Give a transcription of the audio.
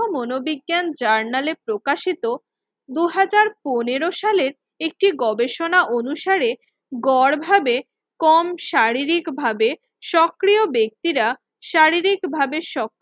মনোবিজ্ঞান জার্নালে প্রকাশিত দুই হাজার পনেরো সালের একটি গবেষণা অনুসারে গড় ভাবে কম শারীরিকভাবে সক্রিয় ব্যক্তিরা শারীরিকভাবে শক্